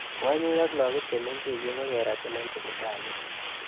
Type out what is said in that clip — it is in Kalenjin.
Kwonyik.ak lakok chemengechen kokeratin eng sibitalit.